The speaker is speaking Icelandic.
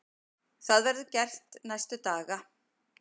Það verður gert næstu daga.